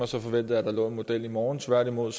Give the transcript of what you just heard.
så forventede at der lå en model i morgen tværtimod